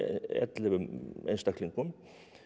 ellefu einstaklingum